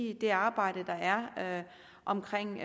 i det arbejde der er omkring